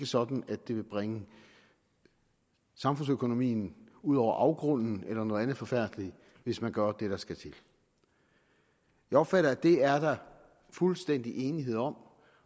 sådan at det vil bringe samfundsøkonomien ud over afgrunden eller noget andet forfærdeligt hvis man gør det der skal til jeg opfatter at det er der fuldstændig enighed om